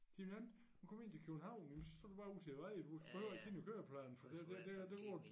Det nemt når du kommer ind til København jamen så står du til æ vej du behøver ikke kigge på køreplanen for det det det er der går den